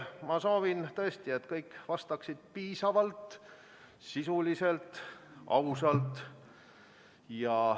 Ma soovin tõesti, et kõik vastaksid piisavalt, sisuliselt ja ausalt.